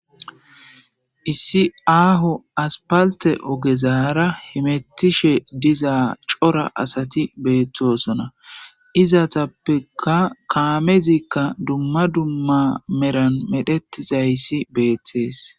issi aaho aspalte ogezaara himettishe diza cora asati beettosona izatappeka kaamezikka dumma dumma meran medhettizayssi beettees